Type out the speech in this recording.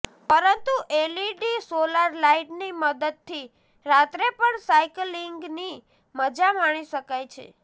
પરંતુ LED solar લાઇટની મદદથી રાત્રે પણ સાયક્લિંગની મજા માણી શકાય છે